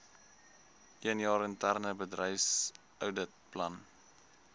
eenjaar interne bedryfsouditplan